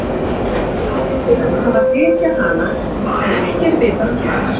hann á síðan að hafa dysjað hana en ekki er vitað hvar